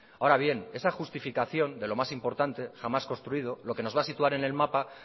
ahora bien esa justificación de lo más importante jamás construido lo que nos va a situar en el mapa